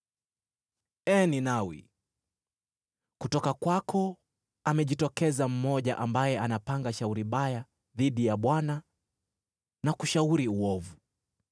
Ee Ninawi, kutoka kwako amejitokeza mmoja, ambaye anapanga shauri baya dhidi ya Bwana na kushauri uovu.